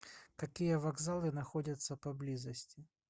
какие вокзалы находятся поблизости